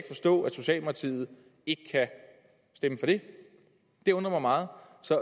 socialdemokratiet ikke kan stemme for det det undrer mig meget